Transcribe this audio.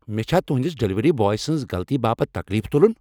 مے چھا تہندِس ڈلیوری بوے سٕنز غلطی باپت تكلیف تُلُن ؟